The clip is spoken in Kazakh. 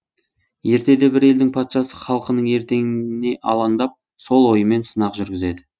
ертеде бір елдің патшасы халқының ертеңіне алаңдап сол ойымен сынақ жүргізеді